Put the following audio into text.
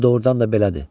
Bu doğurdan da belədir.